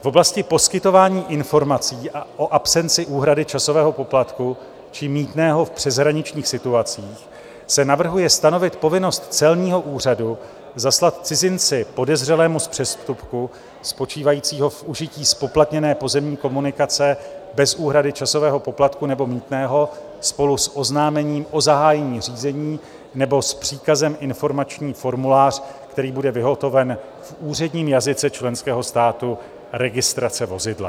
V oblasti poskytování informací o absenci úhrady časového poplatku či mýtného v přeshraničních situacích se navrhuje stanovit povinnost celního úřadu zaslat cizinci podezřelému z přestupku spočívajícího v užití zpoplatněné pozemní komunikace bez úhrady časového poplatku nebo mýtného spolu s oznámením o zahájení řízení nebo s příkazem informační formulář, který bude vyhotoven v úředním jazyce členského státu registrace vozidla.